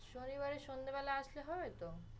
শনিবারে সন্ধ্যে বেলা আসলে হবে তো?